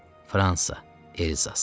Fransa, Elzas.